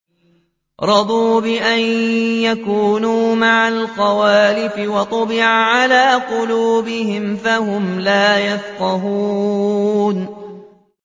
رَضُوا بِأَن يَكُونُوا مَعَ الْخَوَالِفِ وَطُبِعَ عَلَىٰ قُلُوبِهِمْ فَهُمْ لَا يَفْقَهُونَ